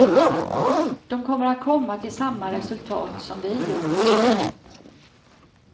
De kommer att komma till samma resultat, som vi gjort.